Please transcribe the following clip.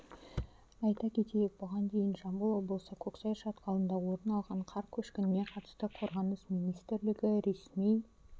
айта кетейік бұған дейін жамбыл облысы көксай шатқалында орын алған қар көшкініне қатысты қорғаныс министрлігі ресми